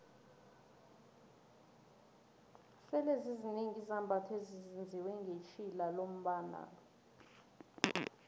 sele zizinengi izambatho ezenziwe ngetjhilalombnalo